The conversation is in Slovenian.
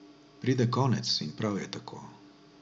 Pride konec in prav je tako.